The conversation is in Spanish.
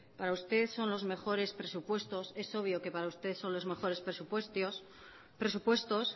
para usted son los mejores presupuestos es obvio que para usted son los mejores presupuestos